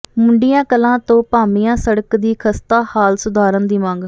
ਮੁੰਡੀਆਂ ਕਲਾਂ ਤੋਂ ਭਾਮੀਆਂ ਸੜਕ ਦੀ ਖਸਤਾ ਹਾਲਤ ਸੁਧਾਰਨ ਦੀ ਮੰਗ